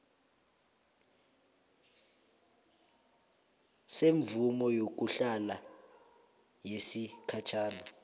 semvumo yokuhlala yesikhatjhana